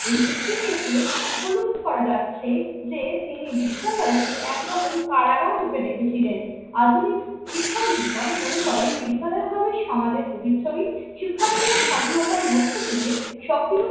এই উক্তি থেকে উপলব্ধি করা যাচ্ছে যে তিনি বিদ্যালয়কে একরকম কারাগার রূপে দেখেছিলেন। আধুনিক শিক্ষাবিদগণ মনে করেন বিদ্যালয় ভাবে সমাজের প্রতিচ্ছবি, শিক্ষার্থীরা স্বাধীনতার মধ্য দিয়ে সক্রিয়